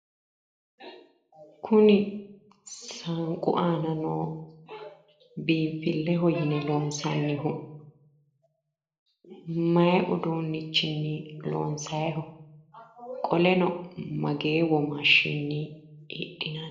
Kuni mastaawoqu aana noo biinfilleho yine loonsoonnihu maayi uduunnichinni loonsaayiho? qoleno mageeyi womaashshinni hidhinayiiho?